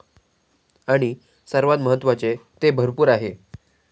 आणि सर्वात महत्वाचे, ते भरपूर आहे!